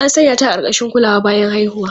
An sanya ta a ƙarƙashin kulawa bayan haihuwa.